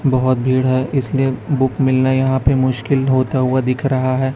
बहोत भीड़ है इसलिए बुक मिलना यहां पे मुश्किल होता हुआ दिख रहा है।